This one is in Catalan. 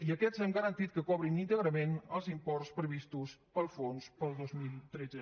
i aquests hem garantit que cobrin íntegrament els imports previstos pel fons per al dos mil tretze